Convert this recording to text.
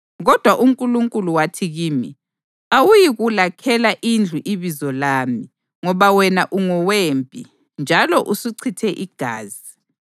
Kodwa uNkulunkulu wathi kimi: ‘Awuyikulakhela indlu iBizo lami, ngoba wena ungowempi njalo usuchithe igazi.’